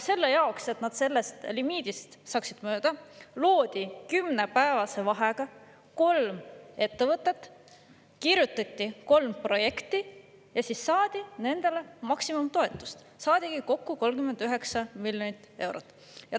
Selle jaoks, et nad sellest limiidist mööda saaksid, loodi kümnepäevase vahega kolm ettevõtet, kirjutati kolm projekti ja siis saadi maksimumtoetus, saadigi kokku 39 miljonit eurot.